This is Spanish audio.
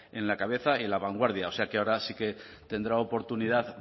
en la cabeza y en la vanguardia o sea que ahora sí que tendrá oportunidad